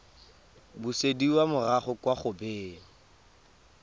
busediwa morago kwa go beng